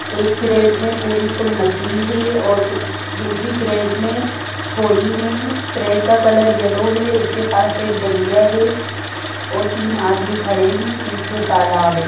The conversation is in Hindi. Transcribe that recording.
एक कैरेट में पूरी फुल मछली है और दूसरी कैरेट में थोड़ी है कैरेट का कलर येल्लो है उसके पास एक डलिया है और तीन आदमी खड़े है पीछे तालाब है।